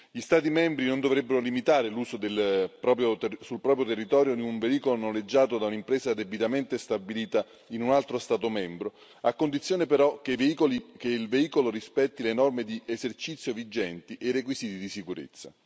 Gli Stati membri non dovrebbero limitare l'uso sul proprio territorio di un veicolo noleggiato da un'impresa debitamente stabilita in un altro Stato membro, a condizione però che il veicolo rispetti le norme di esercizio vigenti e i requisiti di sicurezza.